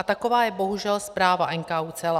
A taková je bohužel zpráva NKÚ celá.